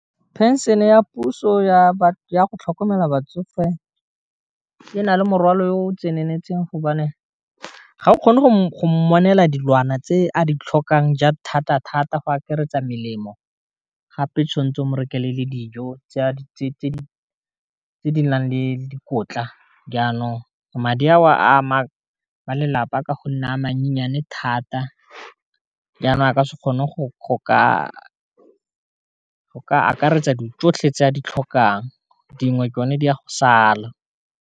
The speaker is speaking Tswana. Pension-e ya puso ya go tlhokomela batsofe e na le morwalo o tseneletseng gobane ga o kgone go mmonela dilwana tse a di tlhokang thata-thata go akaretsa melemo, gape tshwanetse o mo rekele le dijo tse di nang le dikotla, jaanong madi a oa ama ba lelapa ka gonne a mannyane thata jaana a ka se kgone go ka akaretsa di tsotlhe tse a di tlhokang dingwe ke yone di a go sala.